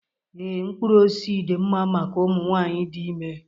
Ee, mkpụrụ osisi dị mma maka ụmụ nwanyị dị ime